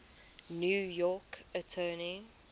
new york attorney